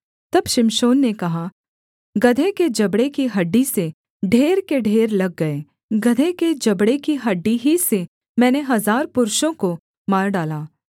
तब शिमशोन ने कहा गदहे के जबड़े की हड्डी से ढेर के ढेर लग गए गदहे के जबड़े की हड्डी ही से मैंने हजार पुरुषों को मार डाला